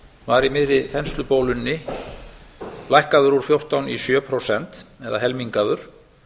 var í miðri þenslubólunni lækkaður úr fjórtán í sjö prósent eða helmingaður